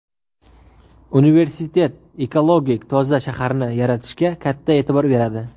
Universitet ekologik toza shaharni yaratishga katta e’tibor beradi.